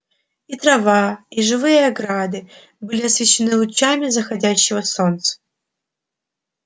и трава и живые ограды были освещены лучами заходящего солнца